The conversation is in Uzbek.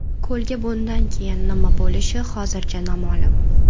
Ko‘lga bundan keyin nima bo‘lishi hozircha noma’lum.